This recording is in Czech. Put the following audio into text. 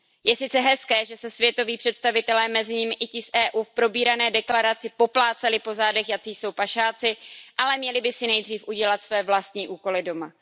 Je sice hezké, že se světoví představitelé, mezi nimi i ti z EU, v probírané deklaraci poplácali po zádech, jací jsou pašáci, ale měli by si nejdříve udělat své vlastní úkoly doma.